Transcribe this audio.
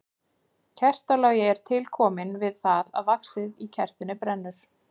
Kertalogi er til kominn við það að vaxið í kertinu brennur.